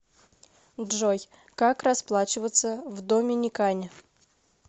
джой как расплачиваться в доминикане